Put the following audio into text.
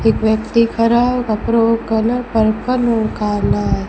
एक व्यक्ति खड़ा कपड़ों कलर पर्पल और काला--